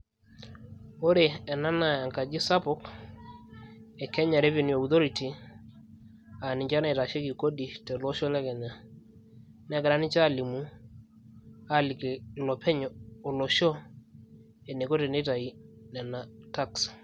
Ore ena naa enkaji sapuk e Kenya Revenue Authority ,na ninche naitasheki kodi tolosho le Kenya. Negira ninche alimu, aliki ilopeny olosho eniko teneitayu ena tax.